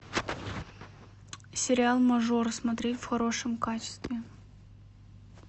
сериал мажор смотреть в хорошем качестве